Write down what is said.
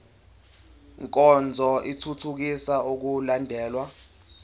nkonzo ithuthukisa ukulandelwa